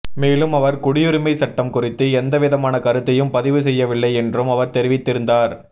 மேலும் அவர் குடியுரிமை சட்டம் குறித்து எந்தவிதமான கருத்தையும் பதிவு செய்யவில்லை என்றும் அவர் தெரிவித்திருந்தார்